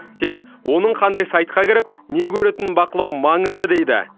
тек оның қандай сайтқа кіріп не көретінін бақылау маңызды дейді